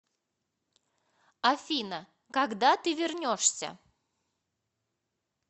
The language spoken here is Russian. афина когда ты вернешься